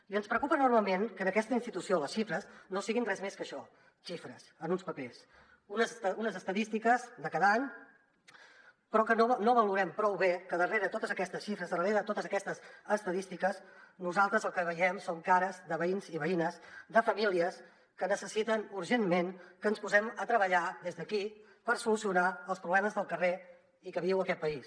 i ens preocupa enormement que en aquesta institució les xifres no siguin res més que això xifres en uns papers unes estadístiques de cada any però que no valorem prou bé que darrere de totes aquestes xifres darrere de totes aquestes estadístiques nosaltres el que veiem són cares de veïns i veïnes de famílies que necessiten urgentment que ens posem a treballar des d’aquí per solucionar els problemes del carrer i que viu aquest país